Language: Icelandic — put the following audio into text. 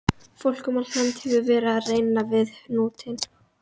Fólk um allt land hefur verið að reyna við hnútinn.